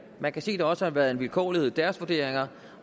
man kan se at der også har været en vilkårlighed i deres vurderinger